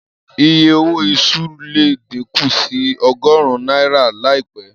Iye owó iṣu le díkù sí ọgọ́rún náírà láìpẹ́.